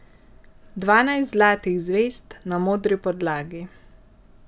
Dvanajst zlatih zvezd na modri podlagi.